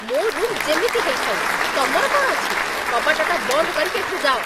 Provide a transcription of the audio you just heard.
ମୋ' ରୁମ୍ ଯେମିତି ହେଇଥାଉ, ତମର କ'ଣ ଅଛି? କବାଟଟା ବନ୍ଦ କରିକି ଏଠୁ ଯାଅ ।